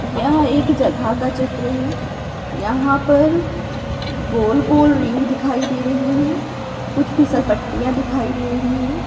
यह एक जगह का चित्र है यहाँ पर गोल-गोल रिंग दिखाई दे रही है कुछ फिसल पट्टियाँ दिखाई दे रही है।